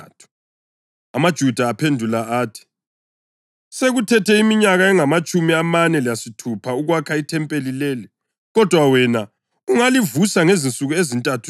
AmaJuda aphendula athi, “Sekuthethe iminyaka engamatshumi amane lesithupha ukwakha ithempeli leli, kodwa wena ungalivusa ngezinsuku ezintathu na?”